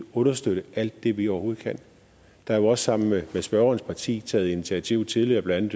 understøtte alt det vi overhovedet kan der er jo også sammen med spørgerens parti taget initiativer tidligere blandt